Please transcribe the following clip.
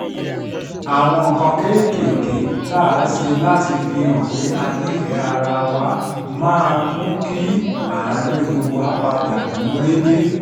àwọn nǹkan kéékèèké tá a ṣe láti fihàn pé a nífẹ̀ẹ́ ara wa mú kí àárín wa padà gún régé